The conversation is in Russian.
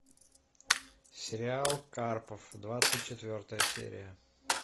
сериал карпов двадцать четвертая серия